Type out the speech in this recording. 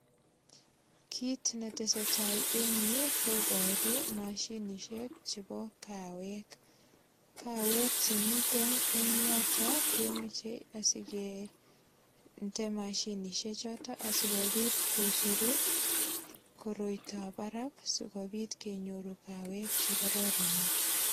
Kit ne teseta en yu koboro mashinisiek chebo kawek. Kawek che miten eng yotok, kemoche asikende mashinisiechoto asigopit kocheru koroitab barak asigopit kenyorun kawek che kororonen.